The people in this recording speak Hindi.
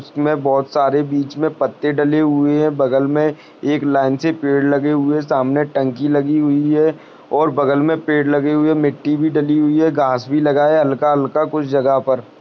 इसमे बहुत सारे बीच मे पत्ते डले हुए है बगल में एक लाइन से पेड़ लगे हुए सामने टन्की लगी हुई है और बगल मे पेड़ लगे हुए है मिट्टी भी डली हुई है घास भी लगाया हल्का-हल्का कुछ जगह पर।